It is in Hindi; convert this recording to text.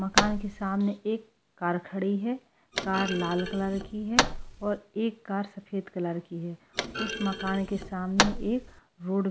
मकान के सामने एक कार खड़ी है कार लाल कलर की है और एक कार सफेद कलर की है उस मकान के सामने एक रोड --